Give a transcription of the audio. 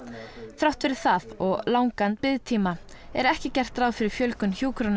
þrátt fyrir það og langan biðtíma er ekki gert ráð fyrir fjölgun hjúkrunarrýma